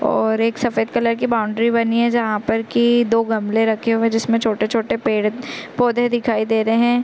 और ररर एक सफेद कलर की बाउंड्री बनी है जहाँ पर की दो गमले रखे हुये है जिसमें छोटे-छोटे पेड़ -पौधे दिखाई दे रहे हैं ।